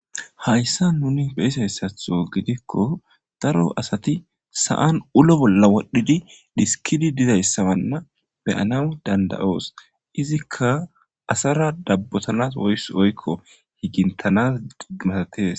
Hayissa nuni beyisayssatho gidikko daro asati sa'an ulo bolla wodhdhidi diskidi dizayssabanna beyana dandayoos izikka asara dabbotanas woys oykko higintanas digmatatees